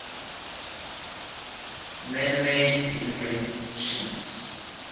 manmade inventions